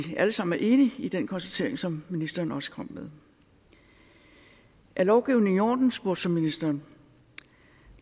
er alle sammen enige i den konstatering som ministeren også kom med er lovgivningen i orden spurgte så ministeren